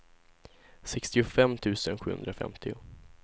sextiofem tusen sjuhundrafemtio